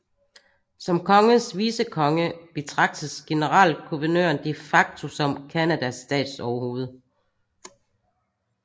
Som kongens vicekonge betragtes generalguvernøren de facto som Canadas statsoverhoved